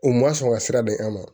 U ma sɔn ka sira don an ma